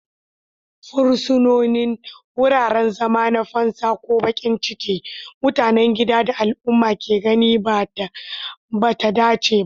Fursunonin, wuraren zama na fansa ko baƙin ciki, mutanen gida da al'umma ke ganin ba ta dace ba.